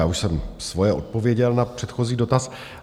Já už jsem svoje odpověděl na předchozí dotaz.